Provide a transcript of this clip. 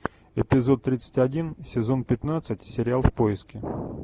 эпизод тридцать один сезон пятнадцать сериал в поиске